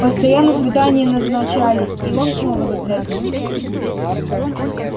постоянно свидания назначали и он снова затрясся